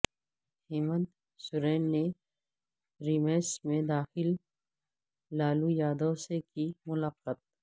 ہیمنت سورین نے ریمس میں داخل لالو یادو سے کی ملاقات